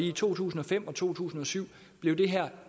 i to tusind og fem og to tusind og syv blev det her